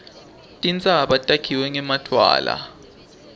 tintsaba takhiwe ngemadwala